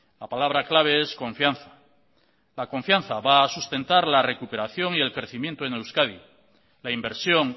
la palabra clave es confianza la confianza va a sustentar la recuperación y el crecimiento en euskadi la inversión